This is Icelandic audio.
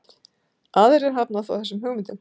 Aðrir hafna þó þessum hugmyndum.